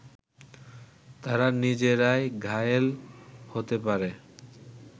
তারা নিজেরাই ঘায়েল হতে পারে